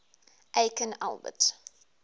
aikin albert